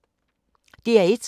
DR1